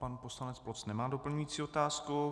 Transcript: Pan poslanec Ploc nemá doplňující otázku.